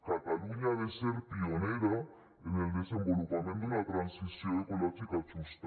catalunya ha de ser pionera en el desenvolupament d’una transició ecològica justa